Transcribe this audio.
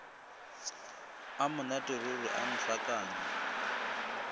a monate ruri a ntlhakanya